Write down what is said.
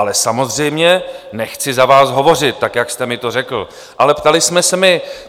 Ale samozřejmě nechci za vás hovořit, tak jak jste mi to řekl, ale ptali jsme se my.